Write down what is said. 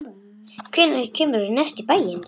Hvenær kemurðu næst í bæinn?